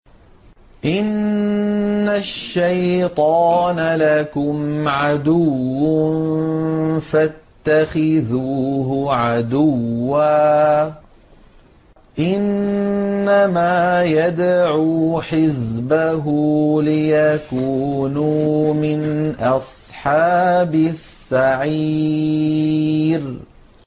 إِنَّ الشَّيْطَانَ لَكُمْ عَدُوٌّ فَاتَّخِذُوهُ عَدُوًّا ۚ إِنَّمَا يَدْعُو حِزْبَهُ لِيَكُونُوا مِنْ أَصْحَابِ السَّعِيرِ